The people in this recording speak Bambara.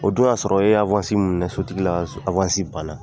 O dun y'a sɔrɔ e ye min minɛ sotigi la banna.